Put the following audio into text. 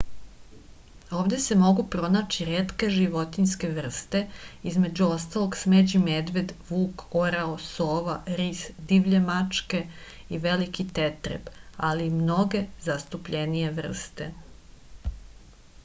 ovde se mogu pronaći retke životinske vrste između ostalog smeđi medved vuk orao sova ris divlje mačke i veliki tetreb ali i mnoge zastupljenije vrste